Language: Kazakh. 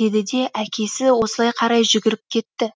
деді де әкесі осылай қарай жүгіріп кетті